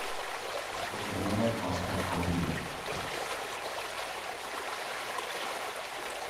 зубная паста колгейт